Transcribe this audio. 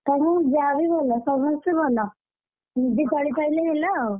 ତା ଯାଆବି ଭଲ ସମସ୍ତେ ଭଲ। ନିଜେ ଚଳି ପାଇଲେ ହେଲା ଆଉ,